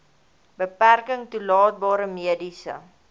beperking toelaatbare mediese